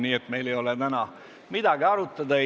Nii et meil ei ole täna midagi arutada.